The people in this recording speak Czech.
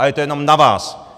A je to jenom na vás.